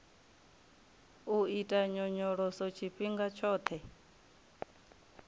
u ita nyonyoloso tshifhinga tshoṱhe